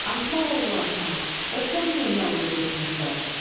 Axmaq oğlu axmaq, bəs sən niyə yallı getmirsən?